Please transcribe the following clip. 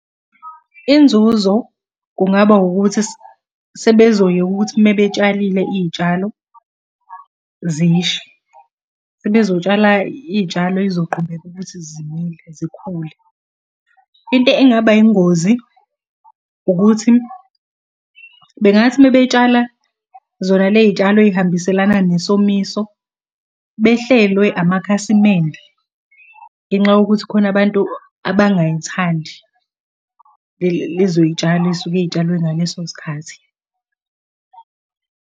Inzuzo kungaba ukuthi sebezoyeka ukuthi uma betshalile iy'tshalo zishe. Sebezotshala iy'tshalo ey'zoqhubeka ukuthi zimile zikhule. Into engaba yingozi, ukuthi bengathi uma betshala zona le iy'tshalo ey'hambiselana nesomiso, behlelwe amakhasimende ngenxa yokuthi khona abantu abangay'thandi lezo iy'tshalo ey'suke iy'tshalwe ngaleso sikhathi.